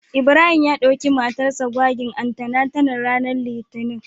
Ibrahim ya dauki matar sa gwagin antenatal ranar Litinin.